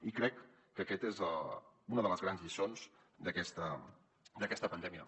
i crec que aquesta és una de les grans lliçons d’aquesta pandèmia